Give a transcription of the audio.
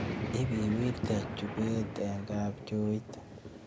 Ibiwiirte chupeet eng' kabchooit